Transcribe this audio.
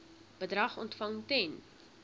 bedrag ontvang ten